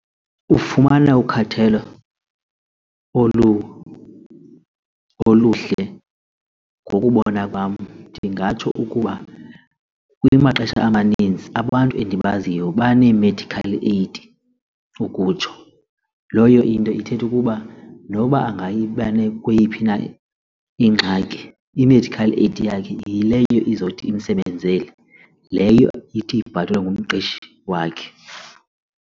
Ufumana ukhathelo oluhle ngokubona kwam ndingatsho ukuba kumaxesha amaninzi abantu endibaziyo banee-medical aid ukutsho kuba loyo into ithetha ukuba noba kweyiphi na ingxaki i-medical aid yakhe yileyo izothi imsebenzele leyo ithi ibhatalwe ngumqeshi wakhe.